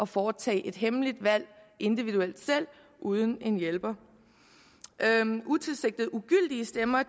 foretage et hemmeligt valg uden en hjælper utilsigtede ugyldige stemmer